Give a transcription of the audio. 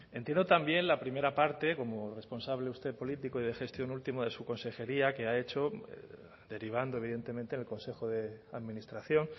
entiendo también la primera parte como responsable usted político y de gestión último de su consejería que ha hecho derivando evidentemente en el consejo de administración